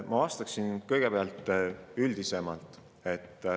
Ma vastaksin sellele kõigepealt üldisemalt.